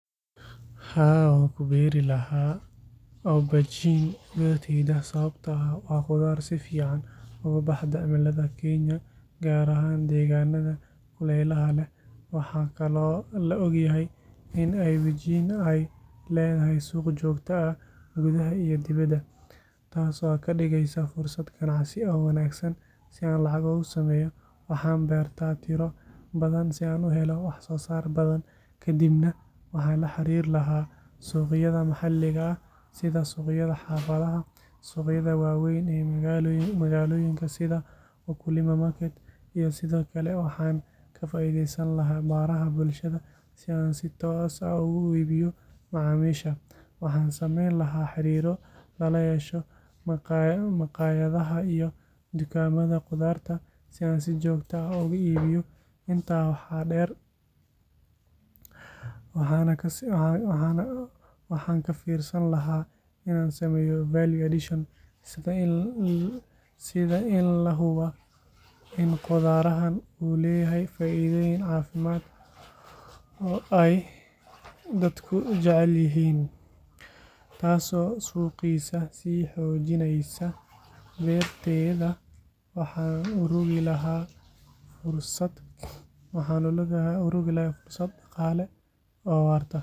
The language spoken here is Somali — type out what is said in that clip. Haa, waan ku beeri lahaa aubergine beertayda sababtoo ah waa khudaar si fiican ugu baxda cimilada Kenya, gaar ahaan deegaanada kuleylaha leh. Waxaa kaloo la og yahay in aubergine ay leedahay suuq joogto ah gudaha iyo dibaddaba, taas oo ka dhigaysa fursad ganacsi oo wanaagsan. Si aan lacag uga sameeyo, waxaan beertaa tiro badan si aan u helo wax-soo-saar badan, kadibna waxaan la xiriiri lahaa suuqyada maxalliga ah sida suuqyada xaafadaha, suuqyada waaweyn ee magaalooyinka sida Wakulima Market, iyo sidoo kale waxaan ka faa’iideysan lahaa baraha bulshada si aan si toos ah ugu iibiyo macaamiisha. Waxaan sameyn lahaa xiriiro lala yeesho maqaayadaha iyo dukaamada khudaarta si aan si joogto ah ugu iibiyo. Intaa waxaa dheer, waxaan ka fiirsan lahaa inaan sameeyo value addition sida in laga sameeyo suugada ama la qalajiyo si loogu iibiyo meelo fog. Waxaa la hubaa in khudaarahan uu leeyahay faa’iidooyin caafimaad oo ay dadku jecel yihiin, taasoo suuqiisa sii xoojinaysa. Beertayda waxaan u rogi lahaa fursad dhaqaale oo waarta.